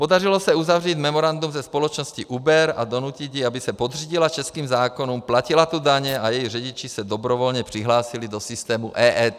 Podařilo se uzavřít memorandum se společnosti Uber a donutit ji, aby se podřídila českým zákonům, platila tu daně a její řidiči se dobrovolně přihlásili do systému EET.